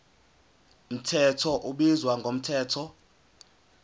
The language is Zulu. mthetho ubizwa ngomthetho